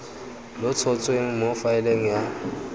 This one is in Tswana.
lo tshotsweng mo faeleng ya